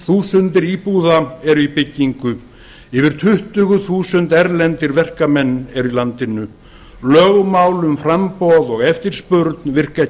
þúsundir íbúða eru í byggingu yfir tuttugu þúsund erlendir verkamenn eru í landinu lögmál um framboð og eftirspurn virka ekki